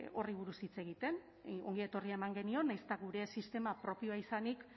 horri buruz hitz egiten ongietorria eman genion nahiz eta gure sistema propioa izanik